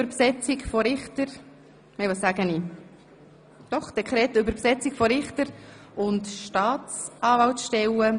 Wir starten mit Traktandum 13, dem Dekret über die Besetzung von Richter- und Staatsanwalts stellen.